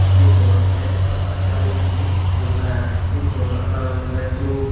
fridso olody baluko jenpai aagey fridso alaran olody dup.